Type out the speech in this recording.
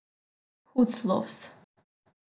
Hud sloves!